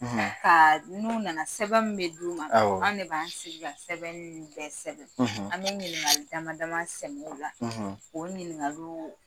Ka n'u nana sɛbɛn min bɛ d'u ma, awɔ,,an de b'an sigi ka sɛbɛn ninnu bɛɛ sɛbɛn , ,an bɛ ɲiningali dama dama sɛmɛ o la, , o ɲiningaliw